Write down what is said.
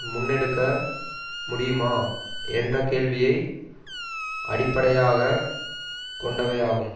முன்னெடுக்க முடியுமா என்றக் கேள்வியை அடிப்படையாக கொண்டவையாகும்